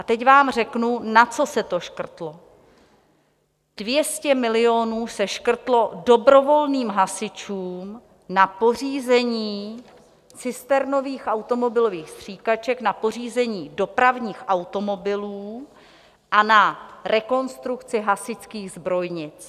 A teď vám řeknu, na co se to škrtlo: 200 milionů se škrtlo dobrovolným hasičům na pořízení cisternových automobilových stříkaček, na pořízení dopravních automobilů a na rekonstrukci hasičských zbrojnic.